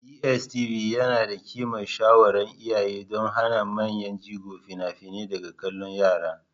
DSTV yana da ƙimar shawaran iyaye don hana manyan jigo fina-finai daga kallon yara.